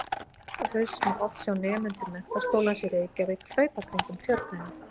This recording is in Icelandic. Vor og haust má oft sjá nemendur Menntaskólans í Reykjavík hlaupa kringum Tjörnina.